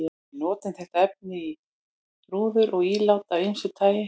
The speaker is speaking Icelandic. Við notum þetta efni í rúður og ílát af ýmsu tagi.